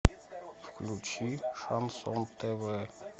включи шансон тв